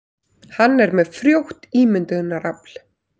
Hann er með frjótt ímyndunarafl.